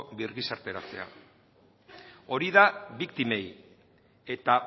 birgizarteratzea hori da biktimei eta